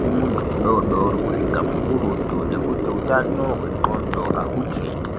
kumuntu mudodori, kusvika mukurutu, nekuti utano hwenxondo ahuketi.